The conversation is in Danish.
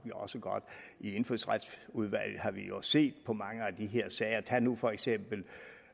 jo også godt i indfødsretsudvalget har vi jo set på mange af de her sager tag nu for eksempel